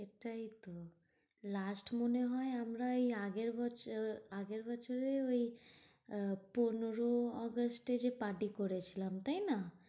সেটাই তো last মনে হয় আমরা ওই আগের বছর বছরে ওই আহ পনেরো আগস্টে যে party করেছিলাম, তাই না?